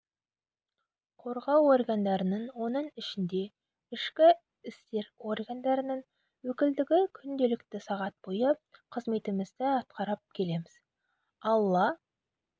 қорғау органдарының оның ішінде ішкі істер органдарының өкілдігі күнделікті сағат бойы қызметімізді атқарып келеміз алла